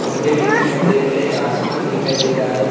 खंभे भी दिखाई दे रहे हैं आसमान दिखाई दे रहा है।